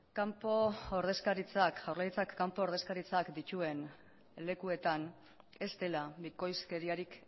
jaurlaritzak kanpo ordezkaritzak dituen lekuetan ez dela bikoizkeriarik